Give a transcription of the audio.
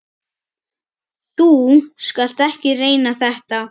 Þú skalt ekki reyna þetta.